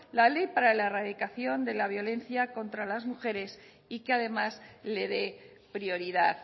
la ley para la erradicación de la violencia contra las mujeres y que además le dé prioridad